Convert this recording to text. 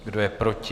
Kdo je proti?